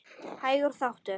Hægur þáttur